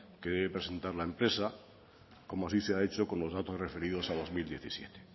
que debe presentar la empresa como así se ha hecho con los datos referidos a dos mil diecisiete